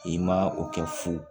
I ma o kɛ fu